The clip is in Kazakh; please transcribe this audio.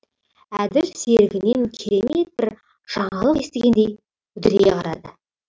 әділ серігінен керемет бір жаңалық естігендей үдірейе қарады